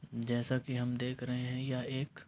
जैसा कि हम देख रहे हैं यह एक --